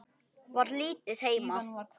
Var lítið heima.